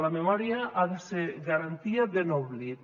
la memòria ha de ser garantia de no oblit